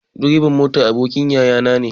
Direban motan abokin yayana ne.